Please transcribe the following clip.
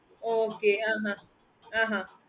okay mam